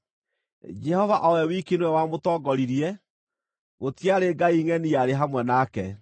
Jehova o we wiki nĩwe wamũtongoririe; gũtiarĩ ngai ngʼeni yarĩ hamwe nake.